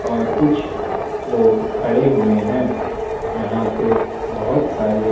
ओर कुछ लोग खड़े हुए है यहाँ पे बहोत सारे--